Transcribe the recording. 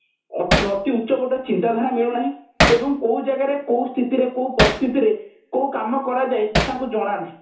ଅତି ଉଚ୍ଚ କୋଟିର ଚିନ୍ତାଧାରା ମିଳୁନାହିଁ ଏବଂ କୋଉ ଜାଗାରେ କୋଉ ସ୍ଥିତିରେ କୋଉ ପରିସ୍ଥିତିରେ କୋଉ କାମ କରାଯାଏ ତାଙ୍କୁ ଜଣା ନାହିଁ